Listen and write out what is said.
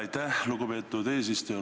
Aitäh, lugupeetud eesistuja!